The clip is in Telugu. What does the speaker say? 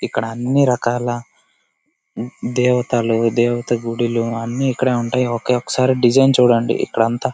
ఇక్కడ అన్ని రకాల దేవతలు దేవత గుడిలో అన్ని ఇక్కడ ఉంటాయి ఓకే ఒకసారి డిజైన్ చూడండి ఇక్కడ అంతా --